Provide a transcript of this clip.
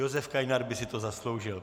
Josef Kainar by si to zasloužil.